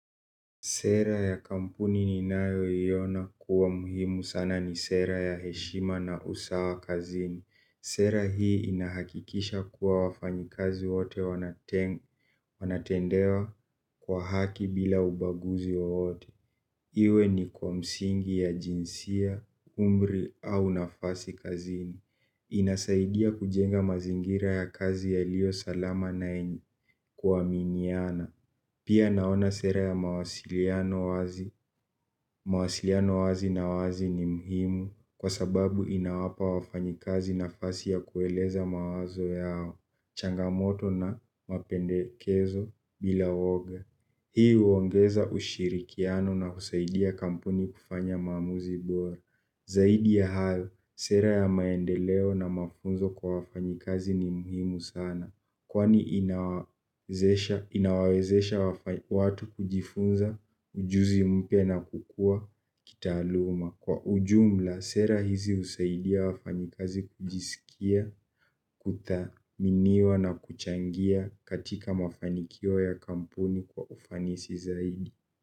Sera ya kampuni ninayoiona kuwa muhimu sana ni sera ya heshima na usawa kazini. Sera hii inahakikisha kuwa wafanyikazi wote wanatendewa kwa haki bila ubaguzi wowote. Iwe ni kwa msingi ya jinsia, umri au nafasi kazini. Inasaidia kujenga mazingira ya kazi yaliyo salama na yenye kuaminiana. Pia naona sera ya mawasiliano wazi. Mawasiliano wazi na wazi ni muhimu kwa sababu inawapa wafanyikazi nafasi ya kueleza mawazo yao, changamoto na mapendekezo bila woga. Hii huongeza ushirikiano na husaidia kampuni kufanya mamuzi bora. Zaidi ya hayo, sera ya maendeleo na mafunzo kwa wafanyikazi ni muhimu sana. Kwani inawawezesha watu kujifunza, ujuzi mpya na kukua kitaaluma. Kwa ujumla, sera hizi husaidia wafanyikazi kujisikia, kuthaminiwa na kuchangia katika mafanikio ya kampuni kwa ufanisi zaidi.